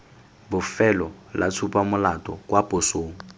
bofelo la tshupamolato kwa posong